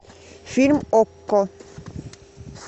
фильм окко